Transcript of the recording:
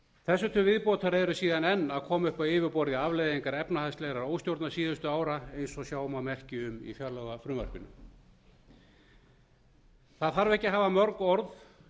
þessu til viðbótar eru síðan enn að koma upp á yfirborðið afleiðingar efnahagslegrar óstjórnar síðustu ára eins og sjá má merki um í fjárlagafrumvarpinu það þarf ekki að hafa mörg orð